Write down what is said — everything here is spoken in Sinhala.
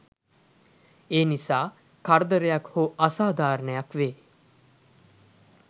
එනිසා කරදරයක් හො අසාධාරණයක් වේ